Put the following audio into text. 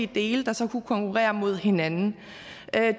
dele der så kunne konkurrere mod hinanden